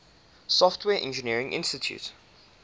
software engineering institute